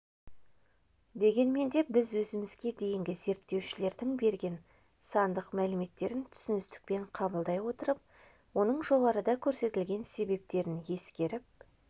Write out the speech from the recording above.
дегенмен де біз өзімізге дейінгі зерттеушілердің берген сандық мәліметтерін түсіністікпен қабылдай отырып оның жоғарыда көрсетілген себептерін ескеріп